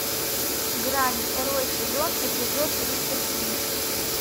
грань второй сезон эпизод тридцать три